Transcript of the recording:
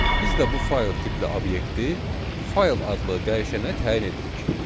Biz də bu faylın tipli obyekti fayl adlı dəyişənə təyin edirik.